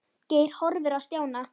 Geir horfði á Stjána.